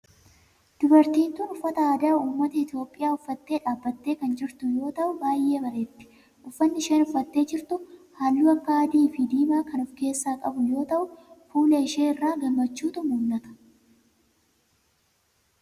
Dubartiin tun uffata aadaa ummata Itiyoophiyaa uffattee dhaabbattee kan jirtu yoo ta'u baayyee bareeddi. Uffanni isheen uffattee jirtu halluu akka adii fi diimaa kan of keessaa qabu yoo ta'u fuula ishee irraa gammachuutu mul'ata.